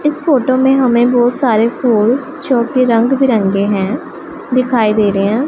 इस फोटो मैं हमे बहोंत सारे फूल जो कि रंग बिरंगे हैं दिखाई दे रहे हैं।